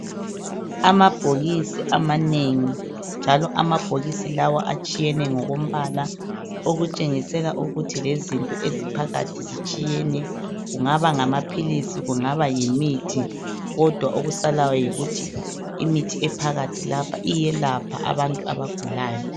Amabhokisi amanengi njalo amabhokisi lawa atshiyene ngokombala. Okutshengisela ukuthi lezinto eziphakathi zitshiyene. Kungaba ngamaphilisi kungaba yimithi. Kodwa okusalayo yikuthi imithi ephakathi lapha iyelapha abantu abantu abagulayo.